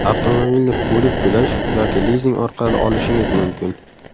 Avtomobilni bo‘lib to‘lash yoki lizing orqali olishingiz mumkin!